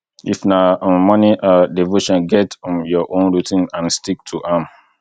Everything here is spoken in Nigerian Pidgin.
if na um morning um devotion get um your own routine and stick to am